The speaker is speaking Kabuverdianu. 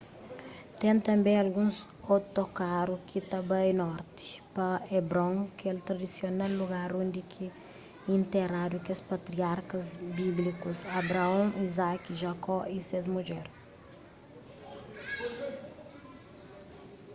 ten tanbê alguns otokaru ki ta bai norti pa hebron kel tradisional lugar undi ki interadu kes patriarkas bíblikus abraon izaki jakó y ses mudjer